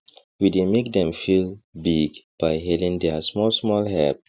we dey make dem feel big by hailing their smallsmall help